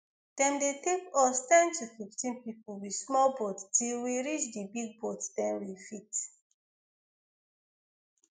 dem dey take us ten to fifteen pipo with small boats till we reach di big boat den we fit